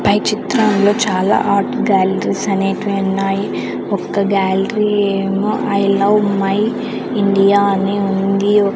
పై చిత్రంలో చాలా art galleries అనేటివి ఉన్నాయి ఒక్క గ్యాలరీ ఏమో ఐ లవ్ మై ఇండియా అని ఉంది.